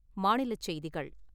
மாநிலச் செய்திகள்